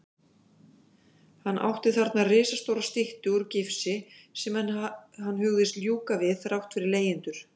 Hann átti þarna risastóra styttu úr gifsi sem hann hugðist ljúka við þrátt fyrir leigjendur.